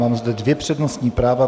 Mám zde dvě přednostní práva.